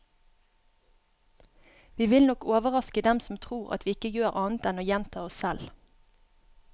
Vi vil nok overraske dem som tror at vi ikke gjør annet enn å gjenta oss selv.